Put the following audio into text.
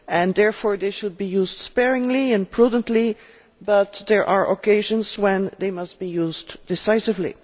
Therefore, they should be used sparingly and prudently, but there are occasions when they must be used decisively.